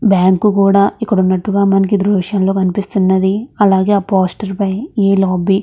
bank కూడా ఇక్కడ ఉన్నట్టుగా మనకి ఈ దృశ్యం లో కనిపిస్తున్నది అలాగే ఆ పోస్టర్ పై ఈ లాబీ--